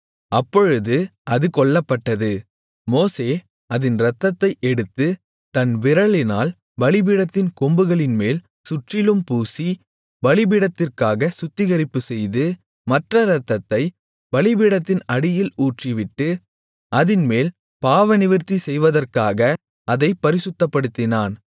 அப்பொழுது அது கொல்லப்பட்டது மோசே அதின் இரத்தத்தை எடுத்து தன் விரலினால் பலிபீடத்தின் கொம்புகளின்மேல் சுற்றிலும் பூசி பலிபீடத்திற்காக சுத்திகரிப்புசெய்து மற்ற இரத்தத்தைப் பலிபீடத்தின் அடியில் ஊற்றிவிட்டு அதின்மேல் பாவநிவிர்த்தி செய்வதற்காக அதைப் பரிசுத்தப்படுத்தினான்